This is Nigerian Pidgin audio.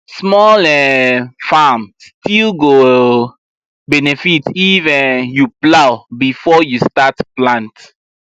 small um farm still go um benefit if um you plow before you start plant